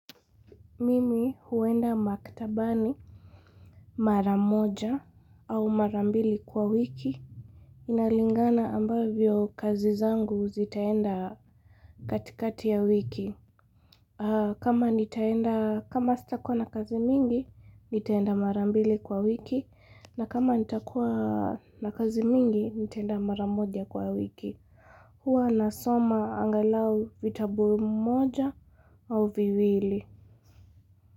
Mimi huenda maktabani mara moja au mara mbili kwa wiki. Inalingana ambavyo kazi zangu zitaenda katikati ya wiki. Kama nitaenda kama sitakuwa na kazi mingi nitaenda mara mbili kwa wiki. Na kama nitakuwa na kazi mingi nitaenda mara moja kwa wiki. Hua nasoma angalau vitabu mmoja au viwili.